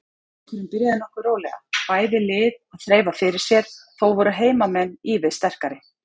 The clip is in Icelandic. Leikurinn byrjaði nokkuð rólega, bæði lið að þreifa fyrir sér, þó voru heimamenn ívið sterkari.